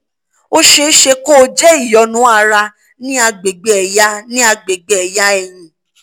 ó ṣeé ṣe kó jẹ́ ìyọnu ara ní àgbègbè ẹ̀yà ní àgbègbè ẹ̀yà ẹ̀yìn